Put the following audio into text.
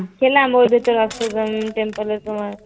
খেলাম ওই দুটো temple সময়